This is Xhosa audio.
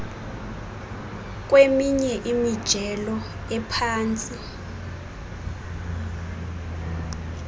kweminye imijelo ephantsi